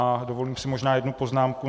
A dovolím si možná jednu poznámku.